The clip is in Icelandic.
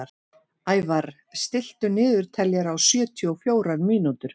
Ævarr, stilltu niðurteljara á sjötíu og fjórar mínútur.